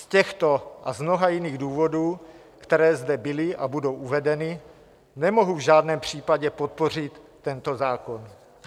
Z těchto a z mnoha jiných důvodů, které zde byly a budou uvedeny, nemohu v žádném případě podpořit tento zákon.